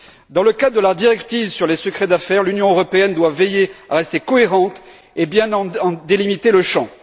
Dans le cadre de la directive sur le secret des affaires, l'Union européenne doit veiller à rester cohérente et à bien en délimiter le champ.